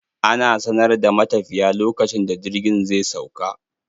Ana sanar da matafiya lokacin da jirgin zai sauka.